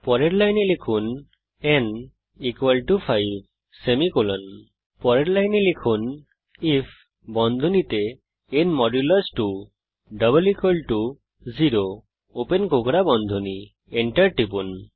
পরের লাইনে লিখুন n 5 পরের লাইনে লিখুন আইএফ ন 2 0 enter টিপুন